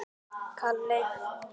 Hvíta húsið getur átt við